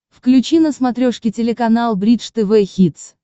включи на смотрешке телеканал бридж тв хитс